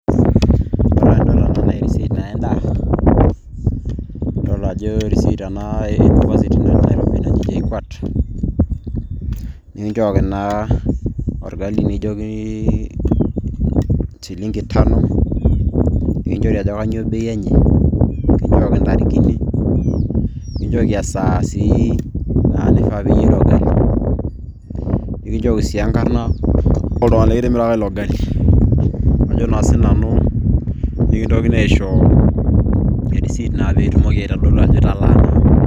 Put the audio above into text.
Ore adol enaa naa e receipt endaa adol ajo e receipt e university naji JKUAT nikinchooki naa orgali nikijiokini echilingi tano ninichori ajo kanyioo bei enye kinjooki intarikini nikinchooki esaa sii naifaa peinyia ilo gali nikinchooki sii enkarna oltung'ani nikitimiraka ilo gali ajo sii nanu nikintokini aisho e receipt peitodolu ajo italaa.